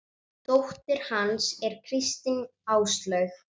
Dóttir hans er Kristín Áslaug.